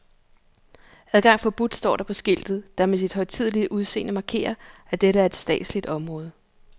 Adgang forbudt står der på skiltet, der med sit højtidelige udseende markerer, at dette er et statsligt område.